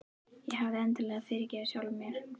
Ég hafði endanlega fyrirgefið sjálfri mér.